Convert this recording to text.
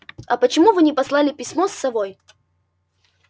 а почему вы не послали письмо с совой